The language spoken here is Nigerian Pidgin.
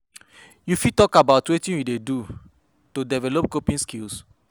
You fit talk about wetin you dey do to develop coping skills?